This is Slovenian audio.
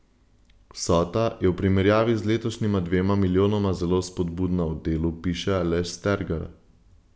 Vsota je v primerjavi z letošnjima dvema milijonoma zelo spodbudna, v Delu piše Aleš Stergar.